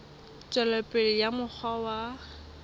tswela pele ka mokgwa wa